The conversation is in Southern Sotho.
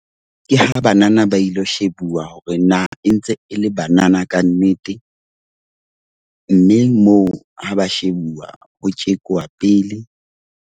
Ke ha banana ba ilo shebuwa hore na e ntse e le banana kannete. Mme moo ha ba shebuwa ho tjekuwa pele.